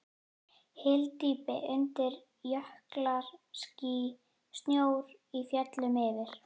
Hyldýpi undir, jöklar, ský, snjór í fjöllum yfir.